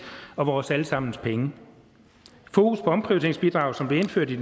og vores alle sammens penge omprioriteringsbidraget blev indført i